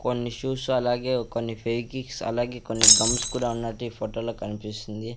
కొన్ని షూస్ అలాగే కొన్ని ఫెవికిక్స్ అలాగే కొన్ని గమ్స్ కూడా ఉన్నట్టు ఈ ఫోటో లో కన్పిస్తుంది.